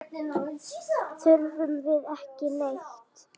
Þurfum við ekki neitt?